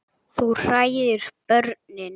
Þú hræðir börnin.